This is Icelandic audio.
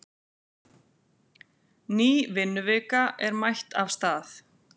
Ný vinnuvika er mætt af stað.